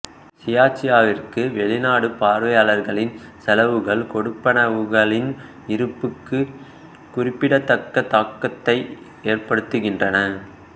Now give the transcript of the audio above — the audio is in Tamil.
சியார்சியாவிற்கு வெளிநாட்டு பார்வையாளர்களின் செலவுகள் கொடுப்பனவுகளின் இருப்புக்கு குறிப்பிடத்தக்க தாக்கத்தை ஏற்படுத்துகின்றன